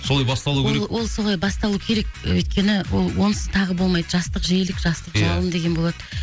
солай басталуы керек ол ол солай басталуы керек өйткені ол онсыз тағы болмайды жастық желік жастық жалын деген болады